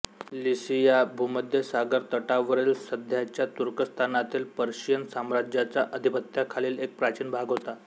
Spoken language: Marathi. लिसिया भूमध्य सागर तटावरील सध्याच्या तुर्कस्तानातील पर्शियन साम्राज्याच्या आधिपत्याखालील एक प्राचीन भाग होता